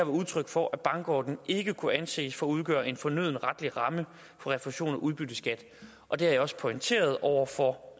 udtryk for at bankordningen ikke kunne anses for at udgøre en fornøden retlig ramme for refusion af udbytteskat og det har jeg også pointeret over for